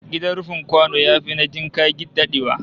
Gidan rufin kwano yafi na jinka dadewa